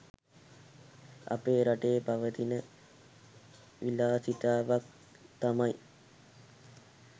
අපේ රටේ පවතින විලාසිතාවක් තමයි